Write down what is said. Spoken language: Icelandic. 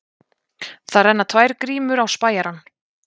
Það renna tvær grímur á spæjarann.